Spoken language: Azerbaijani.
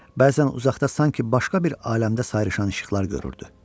Bəzən uzaqda sanki başqa bir aləmdə sayrışan işıqlar görürdü.